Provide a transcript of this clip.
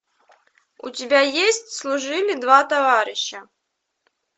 у тебя есть служили два товарища